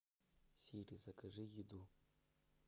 сири закажи еду